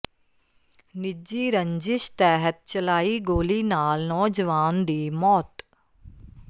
ਨਿੱਜੀ ਰੰਜਿਸ਼ ਤਹਿਤ ਚਲਾਈ ਗੋਲੀ ਨਾਲ ਨੌਜਵਾਨ ਦੀ ਮੌਤ